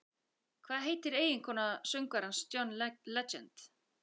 Hvað heitir eiginkona söngvarans John Legend?